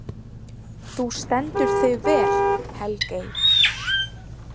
Þú stendur þig vel, Helgey!